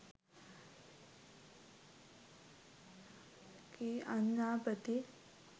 කී අඥාපති